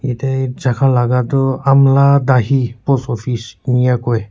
yate jaga laga tu amala dahi post office enka koi.